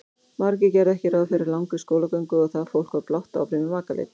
Margir gerðu ekki ráð fyrir langri skólagöngu og það fólk var blátt áfram í makaleit.